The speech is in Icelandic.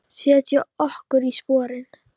Setjum okkur í sporin.